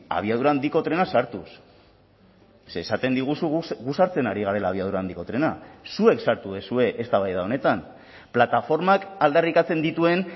abiadura handiko trena sartuz ze esaten diguzu gu sartzen ari garela abiadura handiko trena zuek sartu duzue eztabaida honetan plataformak aldarrikatzen dituen